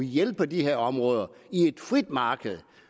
hjælpe de her områder i et frit marked